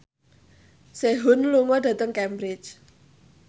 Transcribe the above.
Sehun lunga dhateng Cambridge